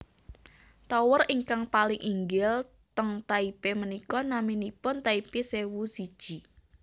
Tower ingkang paling inggil ten Taipei menika naminipun Taipei sewu siji